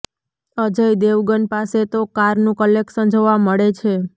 અજય દેવગન પાસે તો કારનું કલેક્શન જોવા મળે છે